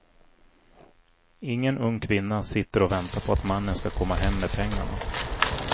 Ingen ung kvinna sitter och väntar på att mannen ska komma hem med pengarna.